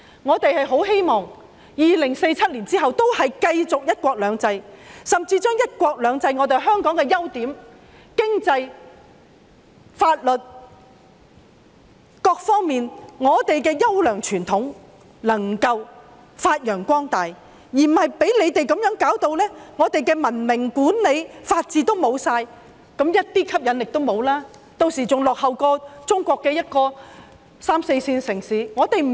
我們很希望2047年之後仍然可以繼續實施"一國兩制"，甚至在"一國兩制"下把香港的優點、經濟、法律等各方面的優良傳統發揚光大，而不是被你們搞得香港失去文明管理、法治，變得一點吸引力都沒有，屆時香港比中國的三四線城市還要落後。